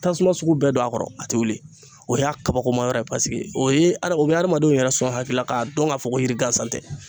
Tasuma sugu bɛɛ don a kɔrɔ a ti wuli o y'a kabakomayɔrɔ ye o ye a o be hadamadenw yɛrɛ sɔn hakilila k'a dɔn k'a fɔ ko yiri gansan tɛ